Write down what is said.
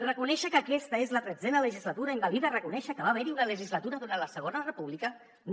reconèixer que aquesta és la tretzena legislatura invalida reconèixer que va haver hi una legislatura durant la segona república no